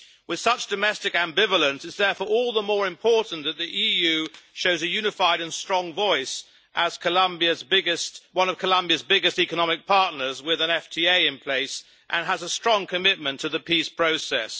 With such domestic ambivalence it is therefore all the more important that the EU shows a unified and strong voice, as one of Colombia's biggest economic partners with an FTA in place, and has a strong commitment to the peace process.